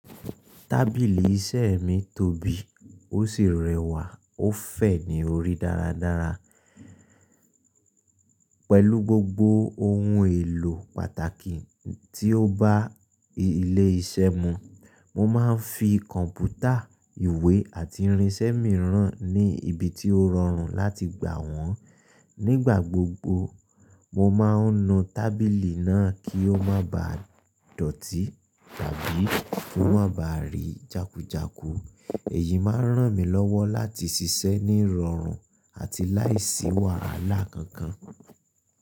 Tábìlì iṣẹ́ mi tóbi, ó sì rẹwà ó fè ní orí dáradára pẹ̀lú gbogbo ohun èlò pàtàkì tí ó bá ilé iṣẹ́ mu. Mo má ń fi kọ̀npútà, ìwé àti irinṣẹ́ mìíràn ní ibi tí ó rọrùn láti gba wọ́n. Nígbà gbogbo, mo má ń nu tábìlì náà kí ó má ba dọ̀tí tàbí kí ó má ba rí jákujàku. Èyí má ń ràn mí lọ́wọ́ láti ṣiṣẹ́ ní ìrọ̀rùn àti láì sí wàhálà kankan.